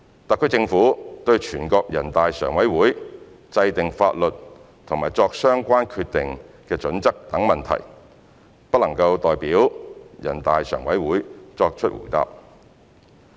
特區政府對人大常委會制定法律和作相關決定的準則等問題，不能代表人大常委會作答。